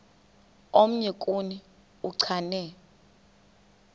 omnye kuni uchane